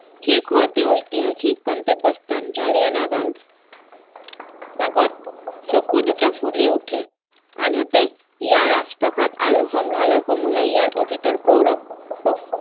শীৰ্ষত অতি ঐতিসাহিক গন্ত্যব্য স্থান জালিয়ানাবাগ বাগত চকু দুটা ফুলি উঠে আনহাতে ইয়াৰ ৰাজপ্ৰাসাদ আৰু সংগ্ৰহালৈ সমূহে ইয়াৰ অতিতৰ গৌৰৱ প্ৰস্তুত